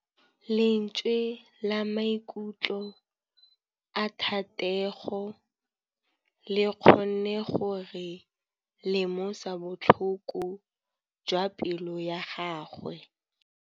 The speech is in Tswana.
Lentswe la maikutlo a Thategô le kgonne gore re lemosa botlhoko jwa pelô ya gagwe.